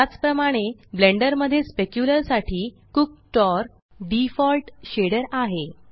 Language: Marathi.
त्याचप्रमाणे ब्लेंडर मध्ये specularसाठी कुक्टर डिफॉल्ट शेडर आहे